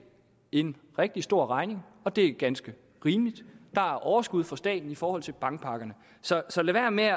en rigtig stor regning og det er ganske rimeligt der er overskud for staten i forhold til bankpakkerne så lad være med at